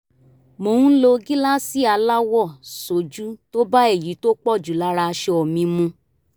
mo ń lo gíláàsì aláwọ̀ sójú tó bá èyí tó pọ̀ jù lára aṣọ mi mu